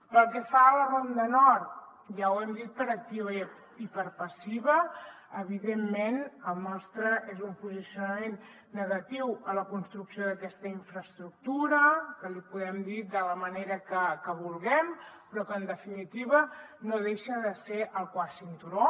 pel que fa a la ronda nord ja ho hem dit per activa i per passiva evidentment el nostre és un posicionament negatiu a la construcció d’aquesta infraestructura que li podem dir de la manera que vulguem però que en definitiva no deixa de ser el quart cinturó